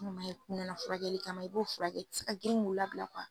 furakɛli kan i b'o fura kɛ i tɛ se ka girin k'u labila